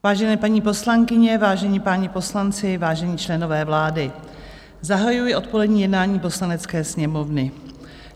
Vážené paní poslankyně, vážení páni poslanci, vážení členové vlády, zahajuji odpolední jednání Poslanecké sněmovny.